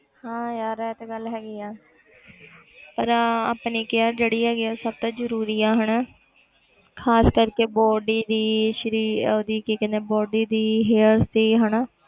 ਹਾਂ ਯਾਰ ਇਹ ਤੇ ਗੱਲ ਹੈਗੀ ਹੈ ਪਰ ਆਪਣੀ care ਜਿਹੜੀ ਹੈਗੀ ਹੈ ਉਹ ਸਭ ਤੋਂ ਜ਼ਰੂਰੀ ਹੈ ਹਨਾ ਖ਼ਾਸ ਕਰਕੇ body ਦੀ ਸਰੀ~ ਉਹਦੀ ਕੀ ਕਹਿੰਦੇ ਆ body ਦੀ hairs ਦੀ ਹਨਾ।